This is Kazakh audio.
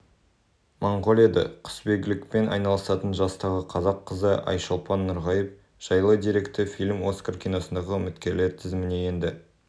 моңғолияда құсбегілікпен айналысатын жастағы қазақ қызы айшолпан нұрғайып жайлы деректі фильм оскар киносыйлығына үміткерлер тізіміне енді